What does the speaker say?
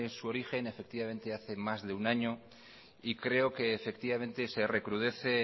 su origen efectivamente hace más de un año y creo que se recrudece